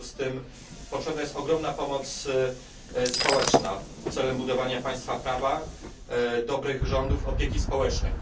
W związku z tym potrzebna jest ogromna pomoc społeczna celem budowania państwa prawa, dobrych rządów, opieki społecznej.